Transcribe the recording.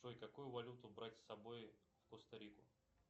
джой какую валюту брать с собой в коста рику